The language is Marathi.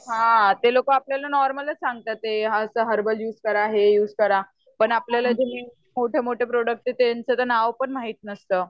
हा ते लोक आपल्याला नॉर्मलच सांगता हेत हर्बल युज करा हे युज करा. पण आपल्याला मोठे मोठे प्रोड़क्ट आहे त्याच तर नाव पण माहिती नसतं.